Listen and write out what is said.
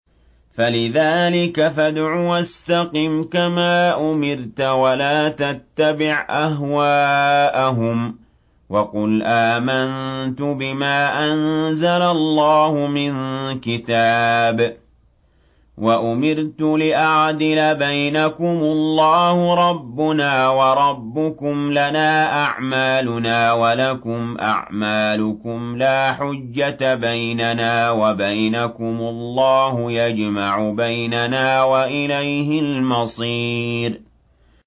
فَلِذَٰلِكَ فَادْعُ ۖ وَاسْتَقِمْ كَمَا أُمِرْتَ ۖ وَلَا تَتَّبِعْ أَهْوَاءَهُمْ ۖ وَقُلْ آمَنتُ بِمَا أَنزَلَ اللَّهُ مِن كِتَابٍ ۖ وَأُمِرْتُ لِأَعْدِلَ بَيْنَكُمُ ۖ اللَّهُ رَبُّنَا وَرَبُّكُمْ ۖ لَنَا أَعْمَالُنَا وَلَكُمْ أَعْمَالُكُمْ ۖ لَا حُجَّةَ بَيْنَنَا وَبَيْنَكُمُ ۖ اللَّهُ يَجْمَعُ بَيْنَنَا ۖ وَإِلَيْهِ الْمَصِيرُ